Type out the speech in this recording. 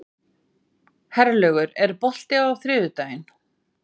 Herlaugur, er bolti á þriðjudaginn?